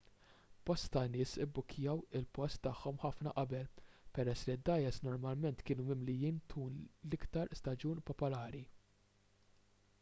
bosta nies jibbukkjaw il-post tagħhom ħafna qabel peress li d-dgħajjes normalment ikunu mimlijin tul l-iktar staġun popolari